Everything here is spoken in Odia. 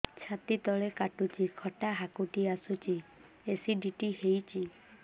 ଛାତି ତଳେ କାଟୁଚି ଖଟା ହାକୁଟି ଆସୁଚି ଏସିଡିଟି ହେଇଚି